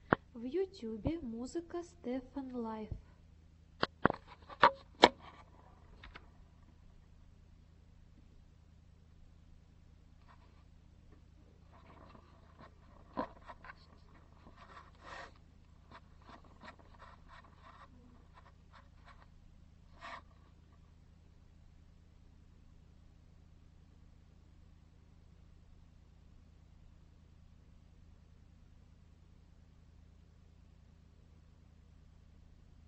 в ютюбе музыка стефан лайф